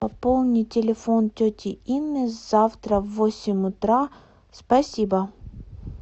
пополни телефон тети инны завтра в восемь утра спасибо